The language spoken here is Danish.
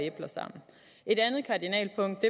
æbler sammen et andet kardinalpunkt